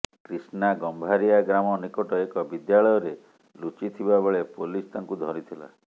କ୍ରିଷ୍ଣା ଗମ୍ଭାରିଆ ଗ୍ରାମ ନିକଟ ଏକ ବିଦ୍ୟାଳୟରେ ଲୁଚିଥିବା ବେଳେ ପୋଲିସ ତାଙ୍କୁ ଧରିଥିଲା